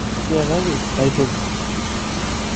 Tiakaki aitoki.